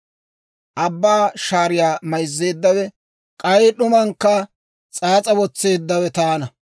Abbaa shaariyaa mayzzeeddawe, k'ay d'umankka s'aas'a wotseeddawe taana.